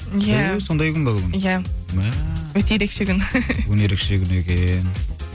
иә түү сондай күн бе бүгін иә мәә өте ерекше күн бүгін ерекше күн екен